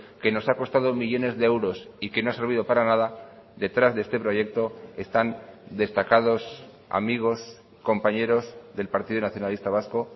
que nos ha costado millónes de euros y que no ha servido para nada detrás de este proyecto están destacados amigos compañeros del partido nacionalista vasco